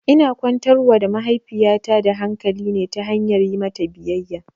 Ina kwantar wa da mahaifiyata da hakali ne ta hanyar yi mata biyayya